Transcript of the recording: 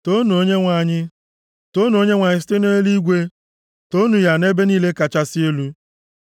Toonu Onyenwe anyị. Toonu Onyenwe anyị site nʼeluigwe, toonu ya nʼebe niile kachasị elu.